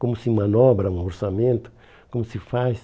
Como se manobra um orçamento, como se faz.